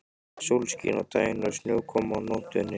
Sólskin á daginn og snjókoma á nóttunni.